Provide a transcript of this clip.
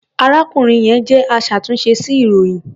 Arákùnrin yẹn jẹ́ aṣàtúnṣe sí ilròyìn.